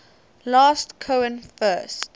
last cohen first